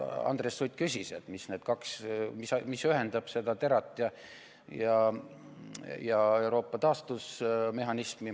Andres Sutt küsis, mis ühendab TERA-t ja Euroopa taastusmehhanismi.